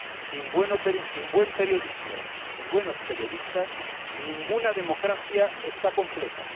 Sin buen periodismo ni buenos periodistas ninguna democracia está completa.